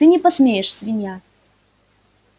ты не посмеешь свинья